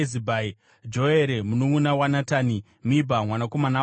Joere mununʼuna waNatani, Mibha mwanakomana waHagiri,